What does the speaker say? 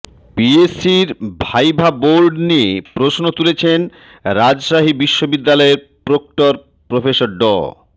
পিএসসির viva board নিয়ে প্রশ্ন তুলেছেন রাজশাহী বিশ্ববিদ্যালয়ের প্রক্টর প্রফেসর ড